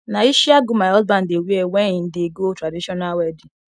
na ishiagu my husband dey wear wen im dey go traditional wedding